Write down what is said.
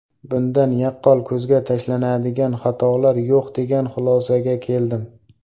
Bundan yaqqol ko‘zga tashlanadigan xatolar yo‘q degan xulosaga keldim.